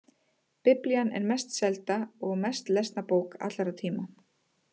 Biblían er mest selda og mest lesna bók allra tíma.